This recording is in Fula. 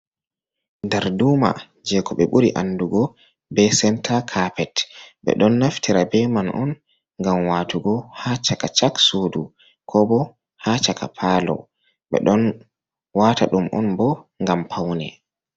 Darduma je ko ɓe ɓuri andugo be senta capet. Ɓeɗon naftira be man on ngam watugo ha chaka-chak sudu ko bo ha chaka palo. Ɓeɗon wata ɗum on bo ngam paune.